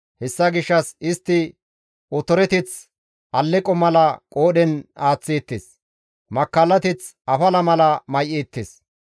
Hessa gishshas istti otoreteth alleqo mala qoodhen aaththeettes; makkallateth afala mala may7eettes.